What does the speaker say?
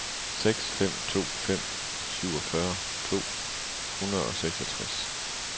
seks fem to fem syvogfyrre to hundrede og seksogtres